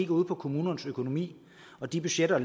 ud på kommunernes økonomi og de budgetter